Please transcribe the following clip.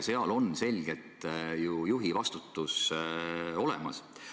Seal on ju selgelt juhi vastutus olemas.